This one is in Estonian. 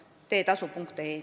Arto Aas, palun!